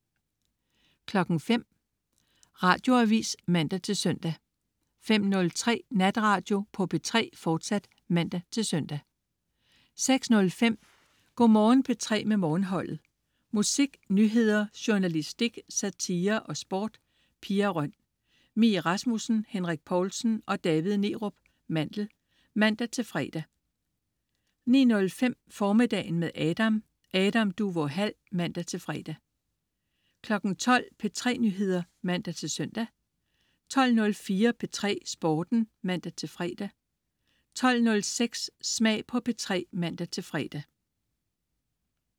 05.00 Radioavis (man-søn) 05.03 Natradio på P3, fortsat (man-søn) 06.05 Go' Morgen P3 med Morgenholdet. Musik, nyheder, journalistik, satire og sport. Pia Røn, Mie Rasmussen, Henrik Povlsen og David Neerup Mandel (man-fre) 09.05 Formiddagen med Adam. Adam Duvå Hall (man-fre) 12.00 P3 Nyheder (man-søn) 12.04 P3 Sporten (man-fre) 12.06 Smag på P3 (man-fre)